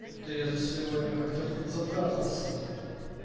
что-то я за сегодня как-то подзатрахался